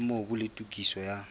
ha mobu le tokiso ya